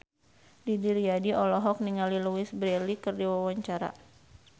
Didi Riyadi olohok ningali Louise Brealey keur diwawancara